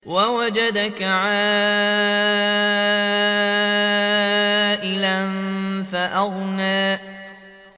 وَوَجَدَكَ عَائِلًا فَأَغْنَىٰ